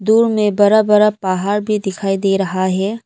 दूर में बड़ा बड़ा पहाड़ भी दिखाई दे रहा है।